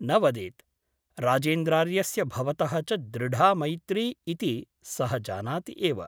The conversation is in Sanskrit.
न वदेत् । राजेन्द्रार्यस्य भवतः च दृढा मैत्री इति सः जानाति एव ।